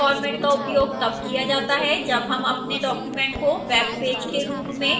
इस format का उपयोग तब किया जाता है जब हम अपने document को web page के रूप में दिखाना चाहते हैं